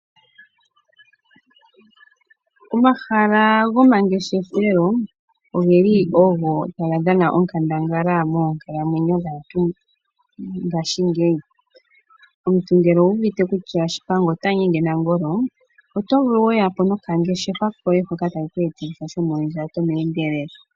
Omahala gomangeshefelo ogeli ogo taga dhana onkandangala moonkalamwenyo dhaantu mongashingeyi. Omuntu ngele owuuvite kutya pamba ota nyenge nangolo, oto vulu weya po nokangeshefa koye hoka takeku etitha shomondjato mehendelelo.